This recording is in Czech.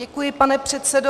Děkuji, pane předsedo.